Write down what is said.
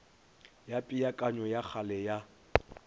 ya peakanyo ya kgale ya